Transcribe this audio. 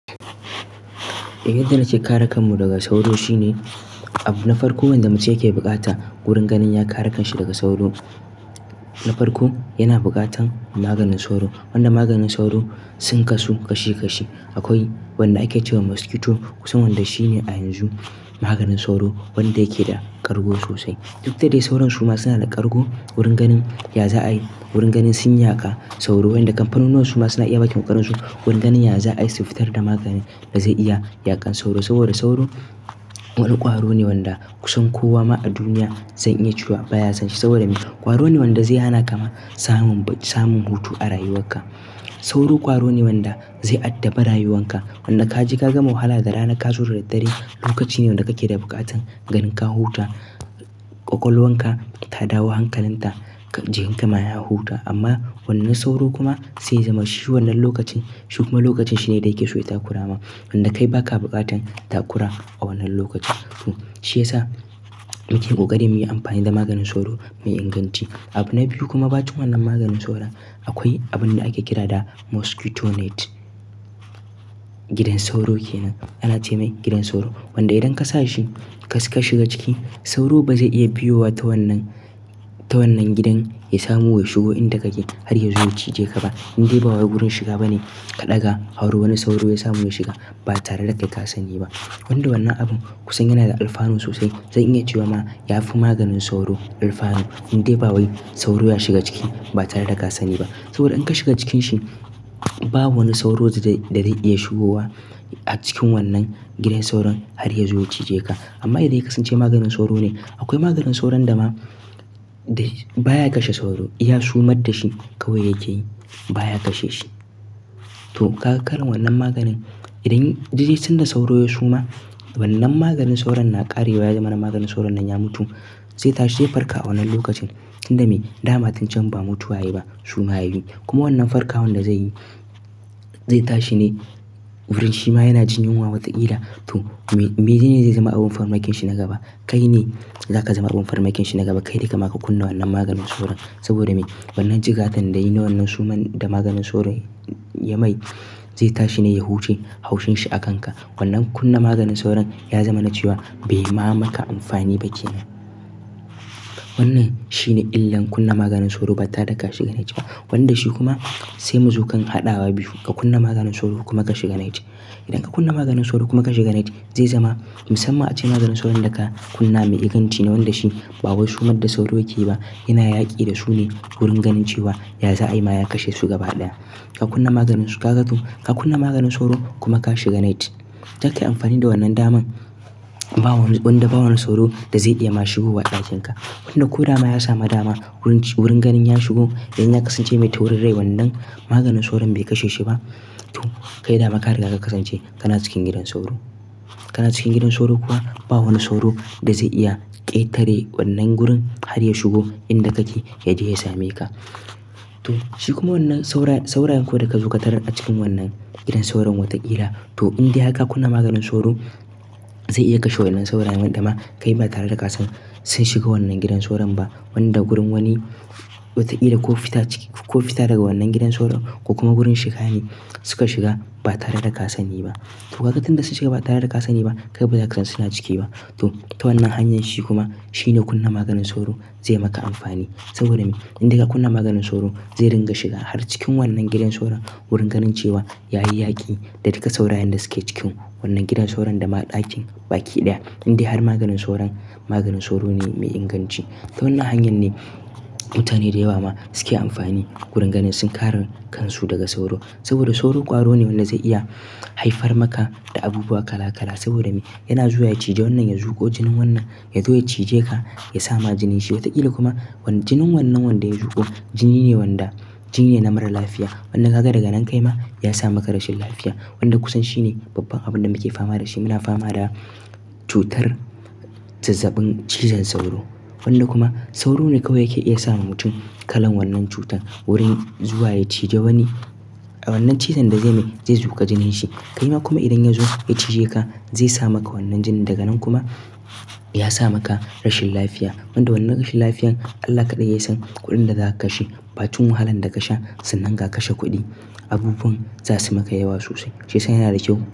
A yarda nake kare kanmu daga sauro shine abu na farko. Wanda mu suke bukata wurin ganin ya kare kanshi daga sauro na farko yana bukatan maganin sauro. Wanda maganin sauro sun kasu kashi kashi. Akwai wanda ake cewa mosquito kusan wanda shine a yanzu maganin sauro wanda yake da kargo sosai. Duk da dai sauran su ma suna da kargo, wurin ganin ya za'a yi, wurin ganin sun yaka sauro. Wanda kamfanunuwa su ma suna iya bakin ƙarinsu, wurin ganin ya za'a ai siffutar da magani da zai iya yaƙan sauro. Saboda sauro wani ƙwaro ne wanda kusan kowa ma a duniya zai iya cewa baya son shi. Saboda me, ƙwaro ne wanda zai hana kama samun, samun hutu a rayuwarka. Sauro ƙwaro ne wanda zai addabe rayuwarka. Wanda ka je ka gama wahala da rana ka zo da daddare, lokaci ne wanda kake da bukatan ganin ka huta, ƙwaƙwalwarka ta dawo hankalinta, jikinka ma ya huta. Amma wannan sauro kuma zai zama shi wannan lokacin. Shi kuma lokacin shine da yake so ya takurama. Wanda kai baka bukatan takura a wannan lokacin. To shi ya sa muke kokarin muyi amfani da maganin sauro mai inganci. Abu na biyu kuma bacin wannan maganin sauro akwai abun da ake kira da mosquito net. Gidan sauro kenan, ana ce mai gidan sauro. Wanda idan ka sa shi ka shiga ciki sauro ba zai iya biyo wa ta wannan, ta wannan gidan ya samu wai shigo inda kake har ya zo ya cije ka ba. Inde ba wai wurin shiga bane ka ɗaga, har wani sauro ya samu ya shiga ba tare da kai ka sani ba. Wanda wannan abun kusan yana da alfano sosai. Zan iya cewa ma ya fi maganin sauro alfano. Inde ba wai sauro ya shiga ciki ba tare da ka sani ba. Saboda in ka shiga cikin shi, ba wani sauro da zai, da zai iya shigowa a cikin wannan gidan sauron har ya zo ya cije ka. Amma idan ya kasance maganin sauro ne, akwai maganin sauron da ma baya kashe sauro. Ya sumar da shi kawai ya je baya kashe shi. To ka ga kalan wannan maganin. Idan dai dai sanda sauro ya suma, wannan maganin sauron na ƙarewa ya zama na maganin sauron nan ya mutu. Zai tashi ya farka a wannan lokacin. Inda me, dama tuncen ba mutuwa yayi ba, suma yayi. Kuma wannan farkawan da zai yi, zai tashi ne wurin shi ma yana jin yunwa wataƙila. To me, mene ne zai zama abin farmakinshi na gaba? Kai ne za ka zama abin farmakinshi na gaba. Kai ne kamaka kunna wannan maganin sauro. Saboda me, wannan jigatan da yayi na wannan suman da maganin sauron ya mai zai tashi ne ya huce haushin shi a kan ka. Wannan kunna maganin sauron ya zama na cewa bai ma maka amfani ba kenan. Wannan shine illan kunna maganin sauro ba tare da ka shiga net ba. Wanda shi kuma sai muzo kan haɗawa biyu. Ka kunna maganin sauro kuma ka shiga net. Idan ka kunna maganin sauro kuma ka shiga net, zai zama musamman ace maganin sauron da ka kunna mai inganci ne. Wanda shi ba wai sumar da sauro yake ba. Yana yaƙi da su ne wurin ganin cewa ya za'a yi ma ya kashe su gaba ɗaya. Ka kunna maganin su, ka ga to. Ka kunna maganin sauro kuma ka shiga net. Zaka yi amfani da wannan daman bawani, wanda ba wani sauro da zai iya ma shigowa ɗakin ka. Wanda ko dama ya sami dama wurin, wurin ganin ya shigo in ya kasance mai taurin rai wannan maganin sauron bai kashe shi ba. To kai dama kariga ka kasance kana cikin gidan sauro. Kana cikin gidan sauro kuwa ba wani sauro da zai iya ƙetare wannan gurin har ya shigo inda kake ya je ya same ka. To shi kuma wannan saura--, saurayen kuwa da ka zo katarar a cikin wannan gidan sauron wataƙila. To indai har ka kunna maganin sauro zai iya kashe wayannan saurayen. Wanda ma kai ba tare da ka san sun shiga wannan gidan sauron ba. Wanda gurin wani wataƙila ko fita ciki, ko fita daga wannan gidan sauro ko kuma gurin shiga ne suka shiga ba tare da ka sani ba. To ka ga tun da sun shiga ba tare da ka sani ba, kai baza kasan suna ciki ba. To ta wannan hanyar shi kuma shine kunna maganin sauro zai maka amfani. Saboda me, indai ka kunna maganin sauro zai ringa shiga har cikin wannan gidan sauron wurin ganin cewa yayi yaƙi da duka saurayen da suke cikin wannan gidan sauron da ma ɗakin baki ɗaya. Indai har maganin sauron, maganin sauro ne mai inganci. Ta wannan hanyan ne mutane da yawa ma suke amfani wurin ganin sun kare kansu daga sauro. Saboda sauro ƙwaro ne wanda zai iya haifar maka da abubuwa kala kala. Saboda me, yana zuwa ya cije wannan ya zuƙo jinin wannan, ya zo ya cije ka ya sama jinin shi. Wataƙila kuma jinin wannan wanda ya zuƙo jini ne wanda, jini ne na mara lafiya. Wanda ka ga daga nan kai ma ya sa maka rashin lafiya. Wanda kusan shine babban abun da muke fama da shi. Muna fama da cutar zazzabin cizon sauro. Wanda kuma sauro ne kawai yake iya sa ma mutum kalan wannan cutar wurin zuwa ya cije wani. A wannan cizon da zai mai zai zuƙa jinin shi. Kai ma kuma idan ya zo ya cije ka zai sa maka wannan jinin. Daga nan kuma ya sa maka rashin lafiya. Wanda wannan rashin lafiyan Allah kaɗai yasan kuɗin da zaka kashe. Bacin wahalan da kasha sannan ga kashe kuɗi. Abubuwan za su maka yawa sosai. Shi yasa yana da kyau.